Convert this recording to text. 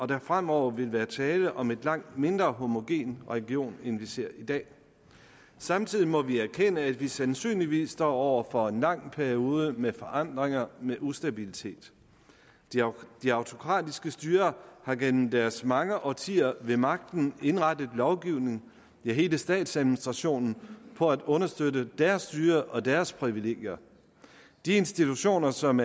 der fremover vil være tale om en langt mindre homogen region end vi ser i dag samtidig må vi erkende at vi sandsynligvis står over for en lang periode med forandringer og med ustabilitet de autokratiske styrer har igennem deres mange årtier ved magten indrettet lovgivningen ja hele statsadministrationen på at understøtte deres styrer og deres privilegier de institutioner som